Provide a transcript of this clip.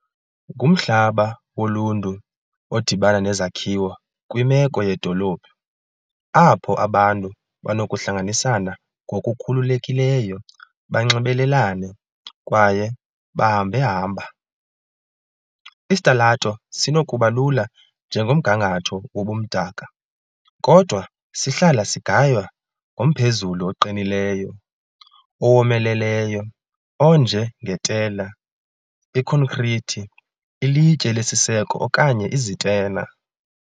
Ngumhlaba woluntu odibana nezakhiwo kwimeko yedolophu, apho abantu banokuhlanganisana ngokukhululekileyo, banxibelelane , kwaye bahambehamba. Isitalato sinokuba lula njengomgangatho wobumdaka, kodwa sihlala sigaywa ngomphezulu oqinileyo, owomeleleyo onje ngetela, ikhonkrithi, ilitye lesiseko okanye izitena .